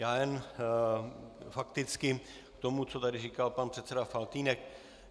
Já jen fakticky k tomu, co tady říkal pan předseda Faltýnek.